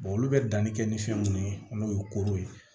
olu bɛ danni kɛ ni fɛn mun ye n'o ye koro ye